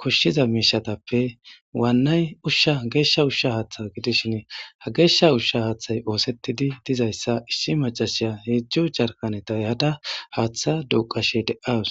koshshiza miishatappe waannay ushsha geeshsha ushsha haaththa gidishin ha geeshsha ushsha haaththay oosetidi dizayssa issi macashiya heezu jarkanetay eha7da haaththa duuqashe deaws.